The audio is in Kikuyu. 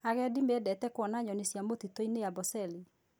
Agendi memdete kuona nyoni cia mũtitũ-inĩ Amboseli.